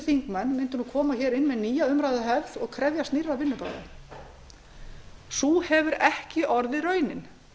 þingmenn mundu koma inn með nýja umræðuhefð og krefjast nýrra vinnubragða sú hefur ekki orðið raunin